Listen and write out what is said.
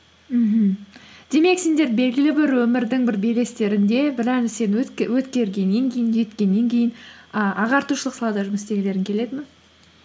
мхм демек сендер белгілі бір өмірдің бір белестерінде өткергеннен кейін жеткеннен кейін і ағартушылық салада жұмыс істегілерің келеді ме